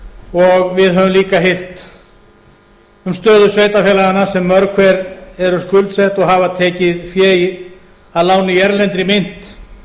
og við höfum líka heyrt um stöðu sveitarfélaganna sem mörg hver eru skuldsett og hafa tekið fé að láni í erlendri mynt